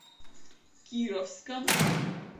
кировском